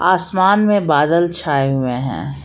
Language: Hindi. आसमान में बादल छाए हुए हैं।